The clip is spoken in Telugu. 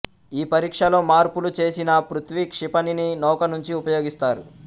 ఈ పరీక్షలో మార్పులు చేసిన పృథ్వి క్షిపణిని నౌక నుంచి ప్రయోగిస్తారు